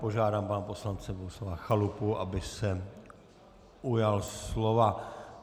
Požádám pana poslance Bohuslava Chalupu, aby se ujal slova.